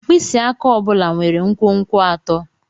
Mkpịsị aka ọ bụla nwere nkwonkwo atọ.